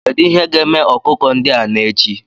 Kedu ihe ga-eme ọkụkọ ndị a n'echi?